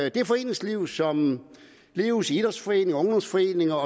i det foreningsliv som leves i idrætsforeninger og ungdomsforeninger